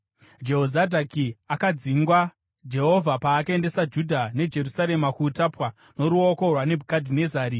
(Jehozadhaki akadzingwa Jehovha paakaendesa Judha neJerusarema kuutapwa noruoko rwaNebhukadhinezari.)